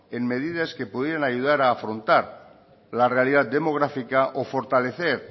en medidas que pudieran ayudar a afrontar la realidad demográfica o fortalecer